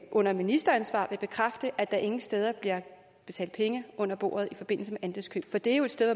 under ministeransvar vil bekræfte at der ingen steder bliver betalt penge under bordet i forbindelse med andelskøb for det er jo et sted